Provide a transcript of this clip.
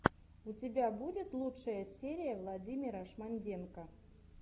у тебя будет лучшая серия владимира шмонденко